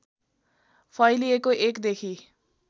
फैलिएको १ देखि